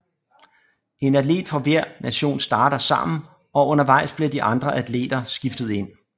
En atlet fra hver nation starter sammen og undervejs bliver de andre atleter skiftet ind